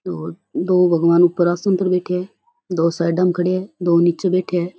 दो दो भगवान ऊपर आसन पर बैठया है दो साइडाँ में खड़या है दो नीचे बैठया है।